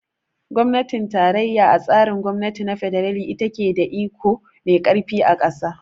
Gwamnatin tarayya a tsarin gwamnati na fedarali ita ce ta ke da iko mai karfi a kasa.